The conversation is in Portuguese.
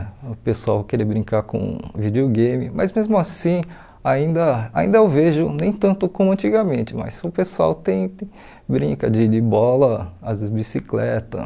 O pessoal queria brincar com videogame, mas mesmo assim ainda ainda eu vejo nem tanto como antigamente, mas o pessoal tem brinca de de bola, às vezes bicicleta.